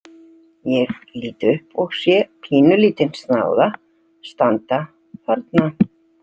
Ég lít upp og sé pínulítinn snáða standa þarna.